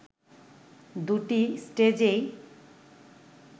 দুটি স্টেজেই